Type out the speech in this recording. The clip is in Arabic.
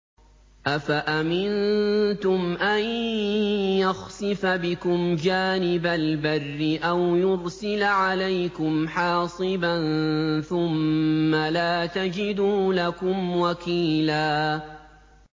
أَفَأَمِنتُمْ أَن يَخْسِفَ بِكُمْ جَانِبَ الْبَرِّ أَوْ يُرْسِلَ عَلَيْكُمْ حَاصِبًا ثُمَّ لَا تَجِدُوا لَكُمْ وَكِيلًا